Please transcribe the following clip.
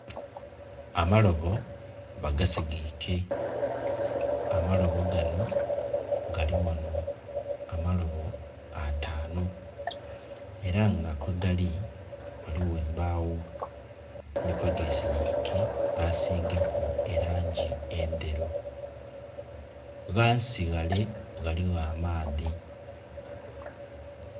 Amalobo bagasigike, amaloobo gano galighano amalobo atanu era nga kwegali ghaligho embagho ni kwegesigike basigaku erangi endheru, ghansi ghale ghaligho amaadhi.